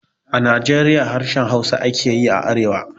A Najeriya harshen Hausa ake yi a arewa